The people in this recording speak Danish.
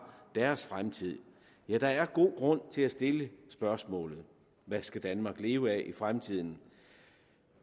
deres fremtid ja der er god grund til at stille spørgsmålet hvad skal danmark leve af i fremtiden